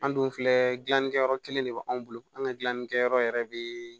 An dun filɛ gilanlikɛyɔrɔ kelen de b'anw bolo an ka gilannikɛyɔrɔ yɛrɛ bɛ